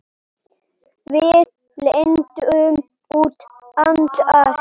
Við lendum út undan.